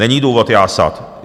Není důvod jásat.